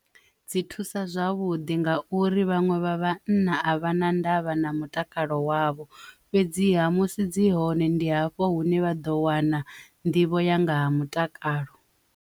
Dzi thusa zwavhuḓi nga uri vhanwe vha vhana a vha na ndavha na mutakalo wavho fhedziha musi dzi hone ndi hafho hune vha ḓo wana nḓivho ya nga ha mutakalo.